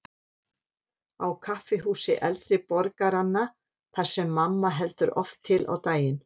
Á kaffihúsi eldri borgaranna, þar sem mamma heldur oft til á daginn.